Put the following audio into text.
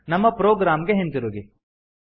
ನಮ್ಮ ಪ್ರೊಗ್ರಾಮ್ ಗೆ ಹಿಂತಿರುಗಿ